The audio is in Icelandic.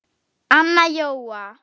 Anna Jóa